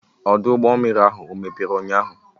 Ọdụ ụgbọ mmiri ahụ ọ mepere ụnyaahụ?